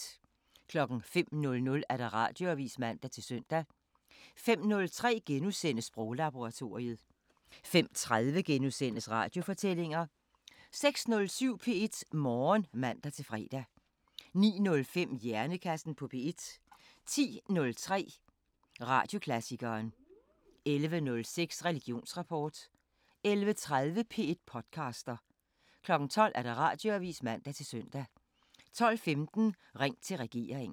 05:00: Radioavisen (man-søn) 05:03: Sproglaboratoriet * 05:30: Radiofortællinger * 06:07: P1 Morgen (man-fre) 09:05: Hjernekassen på P1 10:03: Radioklassikeren 11:06: Religionsrapport 11:30: P1 podcaster 12:00: Radioavisen (man-søn) 12:15: Ring til regeringen